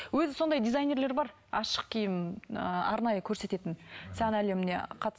өзі сондай дизайнерлер бар ашық киім ы арнайы көрсететін сән әлеміне